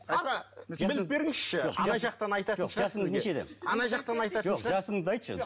аға біліп беріңізші ана жақтан айтатын шығар сізге ана жақтан айтатын шығар жасыңды айтшы